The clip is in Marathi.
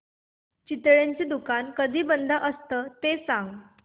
चितळेंचं दुकान कधी बंद असतं ते सांग